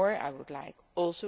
Furthermore, I would like